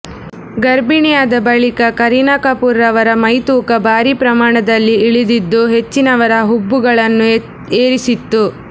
ಗರ್ಭಿಣಿಯಾದ ಬಳಿಕ ಕರೀನಾ ಕಪೂರ್ ರವರ ಮೈತೂಕ ಭಾರೀ ಪ್ರಮಾಣದಲ್ಲಿ ಇಳಿದಿದ್ದು ಹೆಚ್ಚಿನವರ ಹುಬ್ಬುಗಳನ್ನು ಏರಿಸಿತ್ತು